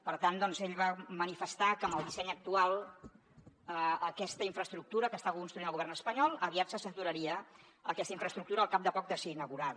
per tant ell va manifestar que amb el disseny actual aquesta infraestructura que està construint el govern espanyol aviat se saturaria aquesta infraestructura al cap de poc de ser inaugurada